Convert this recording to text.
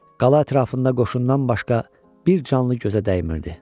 Qala ətrafında qoşundan başqa bir canlı gözə dəymirdi.